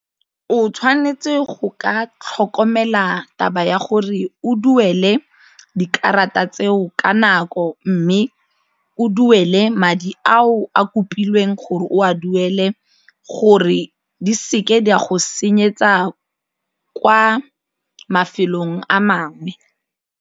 O tshwanetse go ka tlhokomela taba ya gore o duele dikarata tseo ka nako mme o duele madi ao a kopilweng gore o a duele gore di se ke di a go senyetsa kwa mafelong a mangwe.